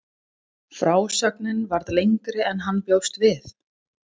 Frásögnin varð lengri en hann bjóst við.